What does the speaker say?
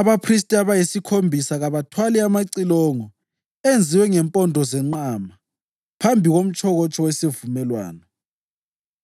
Abaphristi abayisikhombisa kabathwale amacilongo enziwe ngempondo zenqama phambi komtshokotsho wesivumelwano.